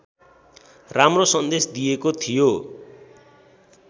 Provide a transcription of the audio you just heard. राम्रो सन्देश दिएको थियो